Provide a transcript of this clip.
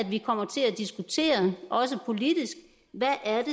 vi kommer til at diskutere også politisk hvad er